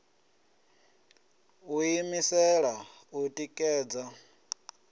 u ḓi imisela u ṋekedza